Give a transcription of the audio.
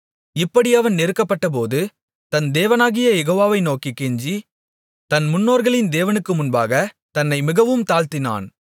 இப்படி அவன் நெருக்கப்படும்போது தன் தேவனாகிய யெகோவாவை நோக்கிக் கெஞ்சி தன் முன்னோர்களின் தேவனுக்கு முன்பாக தன்னை மிகவும் தாழ்த்தினான்